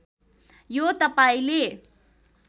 यो तपाईँले